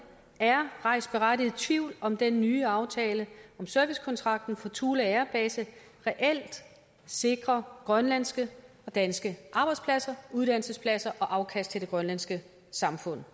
er rejst berettiget tvivl om den nye aftale om servicekontrakten for thule air base reelt sikrer grønlandske og danske arbejdspladser og uddannelsespladser og afkast til det grønlandske samfund